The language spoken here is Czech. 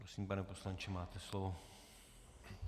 Prosím, pane poslanče, máte slovo.